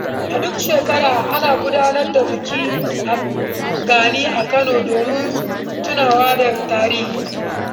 A duk shekara, ana gudanar da bikin Gani a Kano domin murnar al’adun gargajiya.